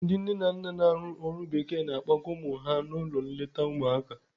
Ndị nne na nna na-arụ ọrụ bekee na-akpọga ụmụ ha n'ụlọ nleta ụmụaka.